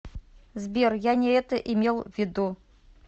сбер я не это имел ввиду